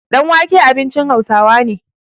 danwake abincin Hausawa ne